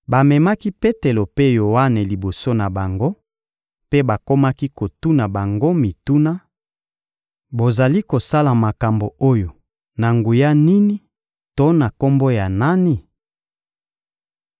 Bamemaki Petelo mpe Yoane liboso na bango, mpe bakomaki kotuna bango mituna: — Bozali kosala makambo oyo na nguya nini to na kombo ya nani?